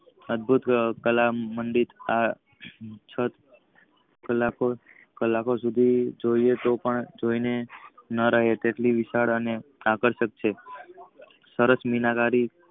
અર્ધ ગાંઠ કાલા મંદિર આ છત કલાકો સુધી જોઈએ તો પણ જોઈને કેટલીક વિશાલ આકર્ષક છે. સરસ મીનાકારી